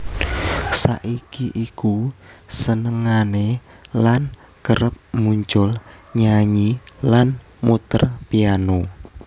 Saiki iku senengane lan kerep muncul nyanyi lan muter piano